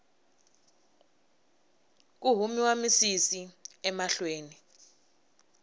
ku humiwa misisi emahlweni